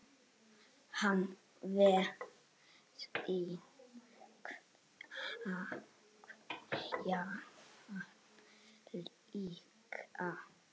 Hann veit sín takmörk líka.